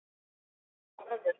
Þetta var erfitt